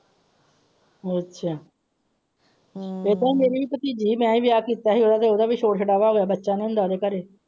ਅੱਛਾ ਇਹਦਾ ਹੀ ਮੇਰੀ ਵੀ ਭਤੀਜੀ ਹੈ ਮੈਂ ਯਾਦ ਕੀਤਾ ਸੀ ਉਹਦਾ ਵੀ ਛੋੜ ਛੁੜਵਾ ਹੋਇਆ ਸੀ ਬੱਚਿਆਂ ਨੂੰ ਲੈ ਗਏ ਘਰੇ।